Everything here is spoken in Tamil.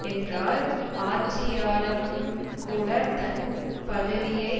என்றால் ஆட்சியாளனும்கூடத் தன் பதவியை